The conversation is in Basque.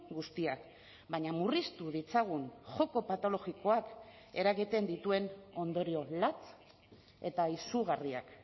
guztiak baina murriztu ditzagun joko patologikoak eragiten dituen ondorio latz eta izugarriak